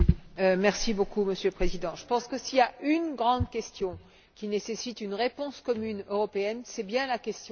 Monsieur le Président, je pense que s'il y a une grande question qui nécessite une réponse commune européenne, c'est bien la question des migrations.